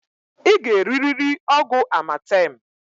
I g'eririri ọgwụ amatemǃ